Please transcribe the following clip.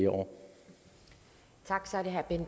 over